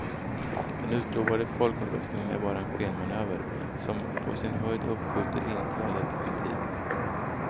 Den utlovade folkomröstningen är bara en skenmanöver, som på sin höjd uppskjuter inträdet en tid.